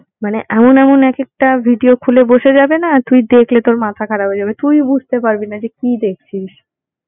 মানে এমন এমন এক একটা video খুলে বসে যাবেনা তুই দেখলে তোর মাথা খারাপ হয়ে যাবে। তুইও বুঝতে পারবি না যে কি দেখছিস।